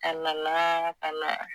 A nana ka na